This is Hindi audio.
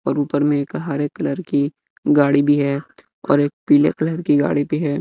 और ऊपर में एक हरे कलर की गाड़ी भी है और एक पीले कलर की गाड़ी भी है।